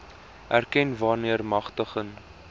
erken wanneer magtiging